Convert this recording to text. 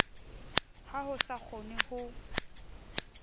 ha ho sa kgonwe ho